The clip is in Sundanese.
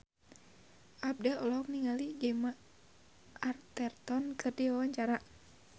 Abdel olohok ningali Gemma Arterton keur diwawancara